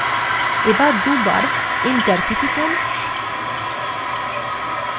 এবার দুবার enter key টিপুন